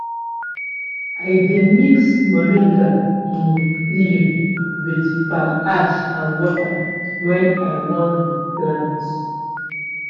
i dey mix moringa um leaf with palm ash and water when i wan re-plant.